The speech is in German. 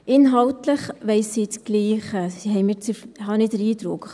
Inhaltlich wollen sie dasselbe, habe ich den Eindruck.